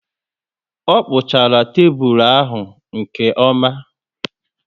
O kpuchara tébulu ahụ nke oma